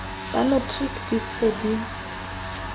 ba matriki di se di